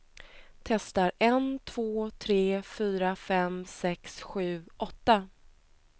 Testar en två tre fyra fem sex sju åtta.